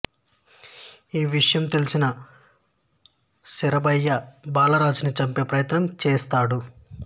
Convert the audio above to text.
ఈ విషయం తెలిసిన శరభయ్య బాలరాజుని చంపే ప్రయత్నం చేస్తాడు